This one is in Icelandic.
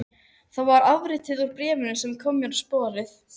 Það var atriði úr bréfinu sem kom mér á sporið.